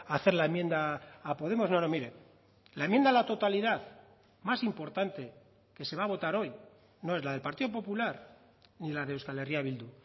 a hacer la enmienda a podemos no no mire la enmienda a la totalidad más importante que se va a votar hoy no es la del partido popular ni la de euskal herria bildu